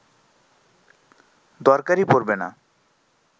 দরকারই পড়বে না